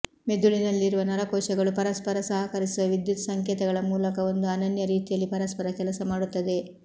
ಮೆದುಳಿನಲ್ಲಿರುವ ನರ ಕೋಶಗಳು ಪರಸ್ಪರ ಸಹಕರಿಸುವ ವಿದ್ಯುತ್ ಸಂಕೇತಗಳ ಮೂಲಕ ಒಂದು ಅನನ್ಯ ರೀತಿಯಲ್ಲಿ ಪರಸ್ಪರ ಕೆಲಸ ಮಾಡುತ್ತವೆ